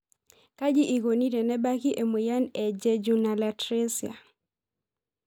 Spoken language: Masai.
Kaji eikoni tenebaki emoyian e jejunalatresia?